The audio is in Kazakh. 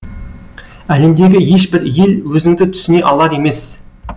әлемдегі ешбір ел өзіңді түсіне алар емес